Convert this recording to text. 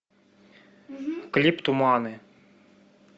клип туманы